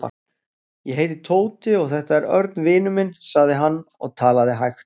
Ég heiti Tóti og þetta er Örn vinur minn sagði hann og talaði hægt.